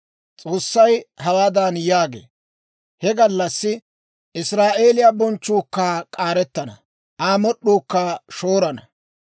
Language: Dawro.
S'oossay hawaadan yaagee; «He gallassi Israa'eeliyaa bonchchuu k'aarettana; Aa mod'd'uukka shoorana.